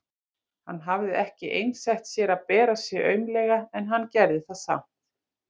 Hann hafði ekki einsett sér að bera sig aumlega en hann gerði það samt.